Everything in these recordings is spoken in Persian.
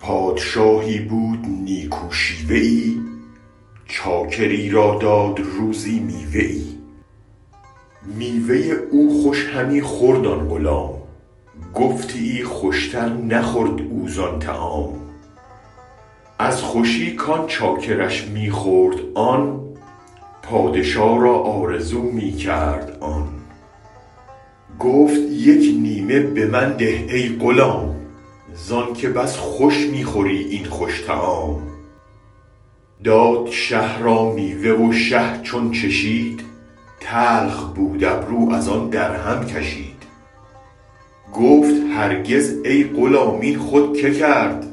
پادشاهی بود نیکو شیوه ای چاکری را داد روزی میوه ای میوه او خوش همی خورد آن غلام گفتیی خوشتر نخورد او زان طعام از خوشی کان چاکرش می خورد آن پادشا را آرزو می کرد آن گفت یک نیمه بمن ده ای غلام زانک بس خوش می خوری این خوش طعام داد شه را میوه و شه چون چشید تلخ بودابرو از آن درهم کشید گفت هرگز ای غلام این خود که کرد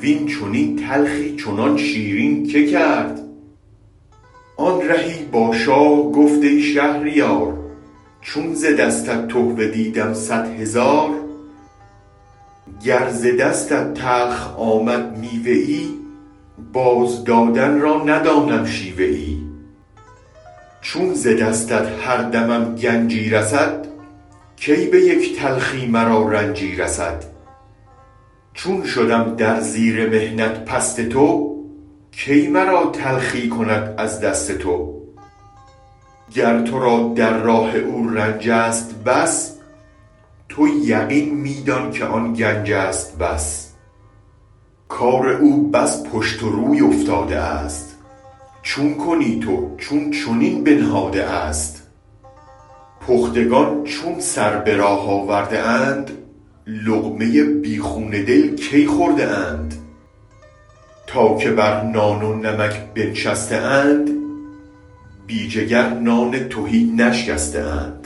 وین چنین تلخی چنان شیرین که کرد آن رهی با شاه گفت ای شهریار چون ز دستت تحفه دیدم صد هزار گر ز دستت تلخ آمد میوه ای بازدادن را ندانم شیوه ای چون ز دستت هر دمم گنجی رسد کی به یک تلخی مرا رنجی رسد چون شدم در زیر محنت پست تو کی مرا تلخی کند از دست تو گر ترا در راه او رنجست بس تو یقین می دان کن آن گنج است بس کار او بس پشت و روی افتاده است چون کنی تو چون چنین بنهاده است پختگان چون سر به راه آورده اند لقمه بی خون دل کی خورده اند تا که بر نان و نمک بنشسته اند بی جگر نان تهی نشکسته اند